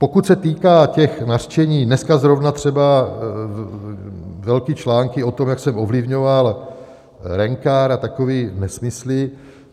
Pokud se týká těch nařčení - dneska zrovna třeba velké články o tom, jak jsem ovlivňoval Rencar a takové nesmysly.